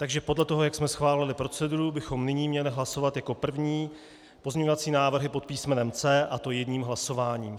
Takže podle toho, jak jsme schválili proceduru, bychom nyní měli hlasovat jako první pozměňovací návrhy pod písmenem C, a to jedním hlasováním.